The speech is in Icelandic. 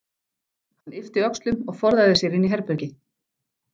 Hann yppti öxlum og forðaði sér inn í herbergi.